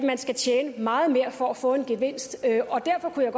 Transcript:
man skal tjene meget mere for at få en gevinst derfor kunne jeg